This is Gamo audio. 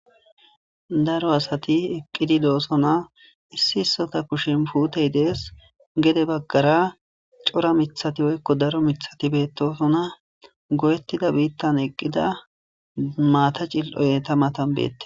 Daro asati eqqidi doosona issi issota kushin puutey dees gede baggara cora mithati woykko daro mithati beettosona go'ettida biittan eqqida maata cil'oyeta matan beette.